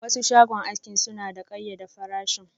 Wasu shagon aski suna da kayyade farashin.